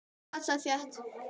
Þau dansa þétt.